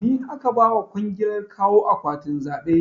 Ni aka ba wa kwangilar kawo akwatinan zaɓe